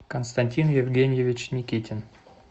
константин евгеньевич никитин